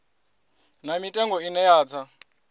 na mitengo ine ya tsa